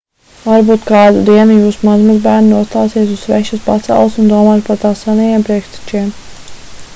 varbūt kādu dienu jūsu mazmazbērni nostāsies uz svešas pasaules un domās par tās senajiem priekštečiem